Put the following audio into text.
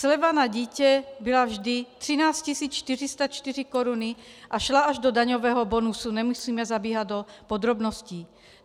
Sleva na dítě byla vždy 13 404 koruny a šla až do daňového bonusu, nemusíme zabíhat do podrobností.